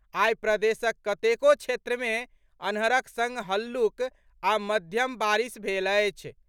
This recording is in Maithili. आई प्रदेशक कतेको क्षेत्र मे अन्हरक संग हल्लुक आ मध्यम बारिश भेल अछि।